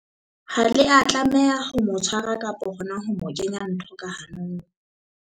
Ha le a tlameha ho mo tshwara kapa hona ho mo kenya ntho ka hanong.